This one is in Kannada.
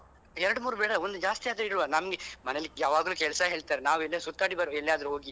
ಎರಡು ಮೂರು ಬೇಡ ಒಂದು ಜಾಸ್ತಿಯಾದ್ರು ಇಡುವ ನನ್ಗೆ ಮನೆಯಲ್ಲಿ ಯಾವಾಗ್ಲೂ ಕೆಲ್ಸ ಹೇಳ್ತಾರೆ ನಾವು ಎಲ್ಲಿಯಾದ್ರೂ ಸುತ್ತಾಡಿ ಬರುವ ಎಲ್ಲಿಯಾದ್ರು ಹೋಗಿ.